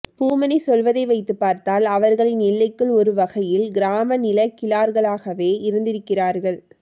பூமணி சொல்வதை வைத்துப்பார்த்தால் அவர்களின் எல்லைக்குள் ஒரு வகையில் கிராமநிலக்கிழார்களாகவே இருந்திருக்கிறார்கள்